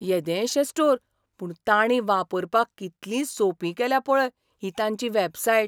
येदेशें स्टोर, पूण तांणी वापरपाक कितली सोंपी केल्या पळय ही तांची वॅबसायट.